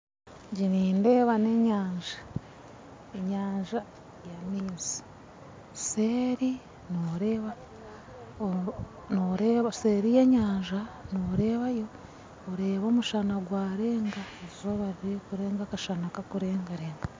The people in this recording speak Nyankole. Egi nindeeba n'enyanja, enyanja y'amaizi seeri y'enyanja norebayo oreba omushana gwarenga eizooba ririkurenga akashana kakurengarenga.